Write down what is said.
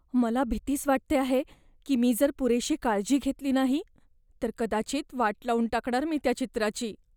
मला भीतीच वाटते आहे की मी जर पुरेशी काळजी घेतली नाही तर कदाचित वाट लावून टाकणार मी त्या चित्राची.